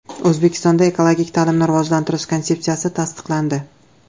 O‘zbekistonda Ekologik ta’limni rivojlantirish konsepsiyasi tasdiqlandi.